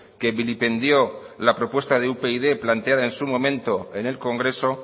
que vilipendió la propuesta de upyd planteada en su momento en el congreso